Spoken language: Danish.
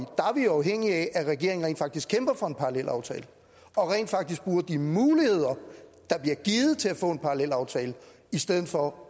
afhængige af at regeringen rent faktisk kæmper for en parallelaftale og rent faktisk bruger de muligheder der bliver givet til at få en parallelaftale i stedet for